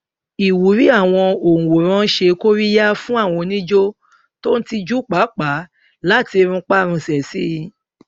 ìwúrí àwọn òǹwòran ṣe kóríyá fún àwọn onijó tó ń tijú pàápàá láti runpárunsẹ sí i